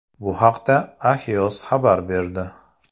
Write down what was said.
Bu haqda Axios xabar berdi .